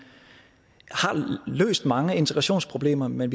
har løst mange integrationsproblemer men